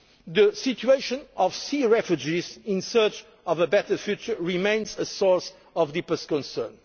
States. The situation of sea refugees in search of a better future remains a source of deepest